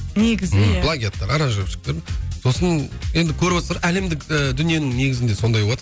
негізі иә плагиаттар аранжировщиктер сосын енді көріватсыздар әлемдік ы дүниенің негізінде сондай болады